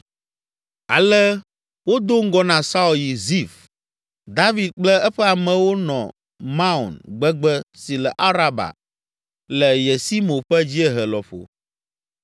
Ale wodo ŋgɔ na Saul yi Zif. David kple eƒe amewo nɔ Maon gbegbe si le Araba le Yesimo ƒe dziehe lɔƒo.